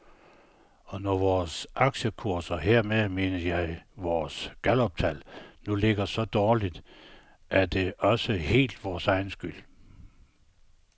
Og når vores aktiekurser, hermed mener jeg vores galluptal, nu ligger så dårligt, er det også helt vores egen skyld.